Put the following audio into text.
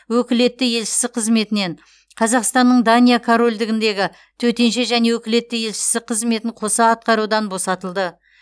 өкілетті елшісі қызметінен қазақстанның дания корольдігіндегі төтенше және өкілетті елшісі қызметін қоса атқарудан босатылды